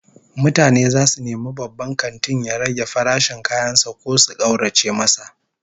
Mutane zasu nemi babban kantin ya rage farashin kayan sa ko su kaurace masa